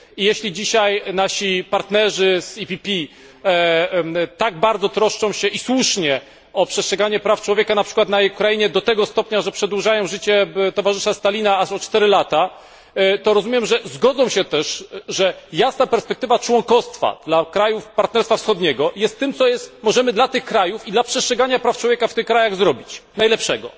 Jeśli dzisiaj nasi partnerzy z EPP tak bardzo troszczą się, i słusznie, o przestrzeganie praw człowieka np. na Ukrainie, do tego stopnia, że przedłużają życie towarzysza Stalina aż o 4 lata, to rozumiem, że zgodzą się też, że jasna perspektywa członkostwa dla krajów Partnerstwa Wschodniego jest tym, co możemy dla tych krajów i dla przestrzegania praw człowieka w tych krajach zrobić najlepszego.